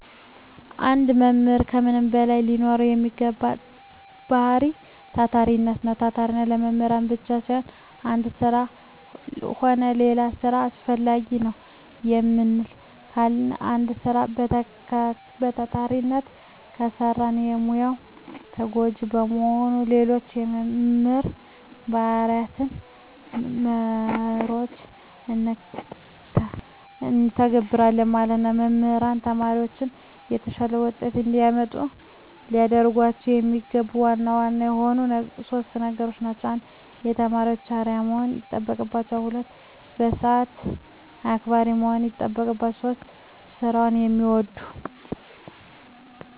አንድ መምህር ከምንም በላይ ሊኖረዉ የሚገባዉ ባህሪይ ታታሪነት ነዉ። ታታሪነት ለመምህርነት ብቻም ሳይሆን ለአንድ ስራ ሆነ ለሌላ ስራ አስፈላጊ ነዉ። ለምን ካልን አንድ ስራ በታታሪነት ከሰራን ለሙያዉ ተገዢ በመሆን ሌሎች የመምህር ባህርያትንና መርሆችን እንተገብረለን ማለት ነዉ። መምህራን ተማሪዎቻቸውን የተሻለ ዉጤት እንዲያመጡ ሊያደርጓቸዉ የሚገባቸዉ ዋና ዋና የሆኑት 3 ነገሮች እነዚህ ናቸዉ። 1. ለተማሪዎች አርዕያ መሆን ይጠበቅበታል። 2. ሰአት አክባሪ መሆን ይጠበቅበታል። 3. ስራዉን የሚወድ።